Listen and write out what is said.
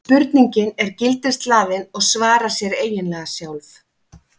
spurningin er gildishlaðin og svarar sér eiginlega sjálf